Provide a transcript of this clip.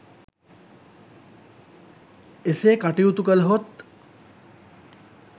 එසේ කටයුතු කළහොත්